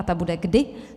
A ta bude kdy?